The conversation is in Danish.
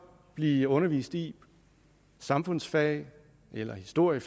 blive undervist i i samfundsfag eller i historie